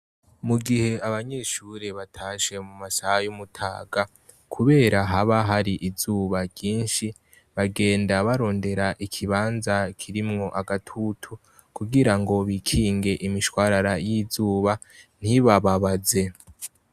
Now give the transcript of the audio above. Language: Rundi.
Mu gihe abanyeshure natashe mu masaha y'umutaga kubera haba har'izuba ryinshi, bagenda bakrondera ikibanza kirimwo agatutu kugira ngo bikinge imishwarara y'izuba ntibababaze.